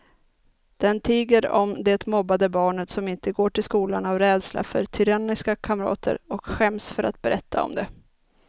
Den tiger om det mobbade barnet som inte går till skolan av rädsla för tyranniska kamrater och skäms för att berätta om det.